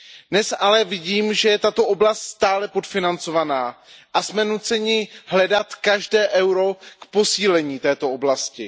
Dnes ale vidím, že je tato oblast stále podfinancovaná a jsme nuceni hledat každé euro k posílení této oblasti.